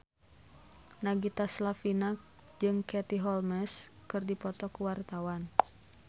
Nagita Slavina jeung Katie Holmes keur dipoto ku wartawan